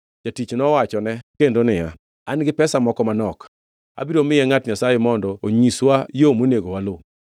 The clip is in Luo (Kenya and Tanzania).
Jatich nowachone kendo niya, “An-gi pesa moko manok. Abiro miye ngʼat Nyasaye mondo onyiswa yo monego waluw.”